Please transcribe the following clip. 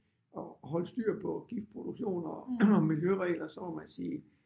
At holde styr på gift produktioner og miljøregler så må man sige